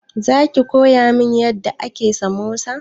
Za ki koya min yadda ake samosa?